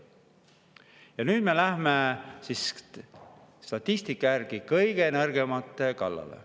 Ja nüüd me lähme statistika järgi kõige nõrgemate kallale.